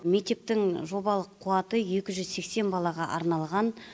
мектептің жобалық қуаты екі жүз сексен балаға арналған